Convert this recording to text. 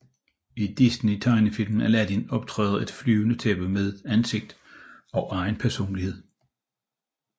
I Disneys tegnefilm Aladdin optræder et flyvende tæppe med ansigt og egen personlighed